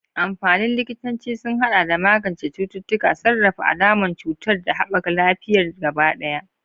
Amfanin likitanci sun haɗa da magance cututtuka, sarrafa alamun cutar, da haɓaka lafiyar gaba ɗaya.